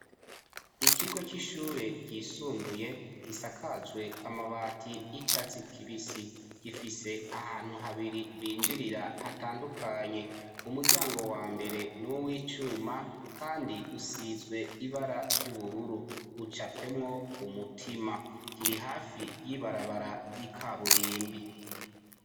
Ikigo c'ishure ryisumbuye gisakajwe amabati y'icatsi kibisi gifise ahantu habiri binjirira hatandukanye , umuryango wa mbere n'uwicuma kandi usizwe ibara ry'ubururu ucapwemwo umutima kiri hafi y'ibarabara ry'ikaburimbi.